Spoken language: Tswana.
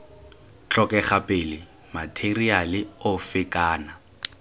tlhokega pele matheriale ofe kana